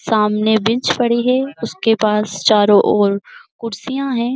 सामने बेंच पड़ी है। उसके पास चारो ऑर खुर्शियाँ है।